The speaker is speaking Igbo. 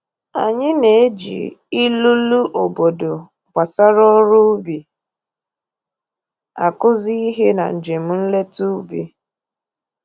Anyị na-eji ilulu obodo gbasara ọrụ ubi akụzi ihe na njem nleta ubi